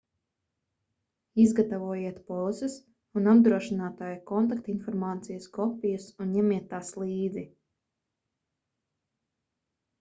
izgatavojiet polises un apdrošinātāja kontaktinformācijas kopijas un ņemiet tās līdzi